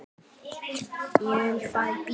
Ég vil fara í bíó